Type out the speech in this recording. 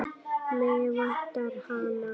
Mig vantar hana.